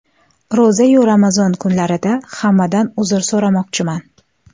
Ro‘za-yu Ramazon kunlarida hammadan uzr so‘ramoqchiman.